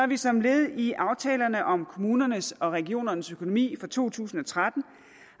vi som led i aftalerne om kommunernes og regionernes økonomi for to tusind og tretten